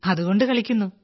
അതുകൊണ്ട് കളിക്കുന്നു